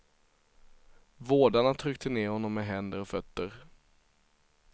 Vårdarna tryckte ner honom med händer och fötter.